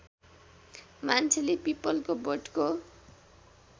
मान्छेले पीपलको बोटको